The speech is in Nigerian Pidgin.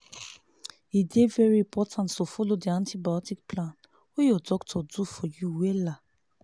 e dey very important to follow the antibiotic plan wey your doctor do for you wella